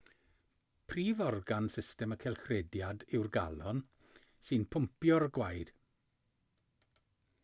prif organ system y cylchrediad yw'r galon sy'n pwmpio'r gwaed